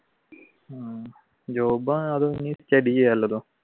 ഉം job